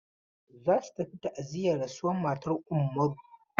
Za su tafi ta'aziyar rasuwar matan Ummaru.